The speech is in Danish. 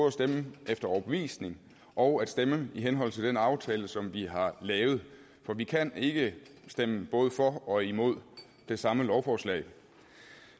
at stemme efter overbevisning og at stemme i henhold til den aftale som vi har lavet for vi kan ikke stemme både for og imod det samme lovforslag